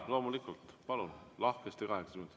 Jaa, loomulikult, palun, lahkesti kaheksa minutit.